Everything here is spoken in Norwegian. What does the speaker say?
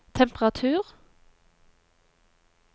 temperatur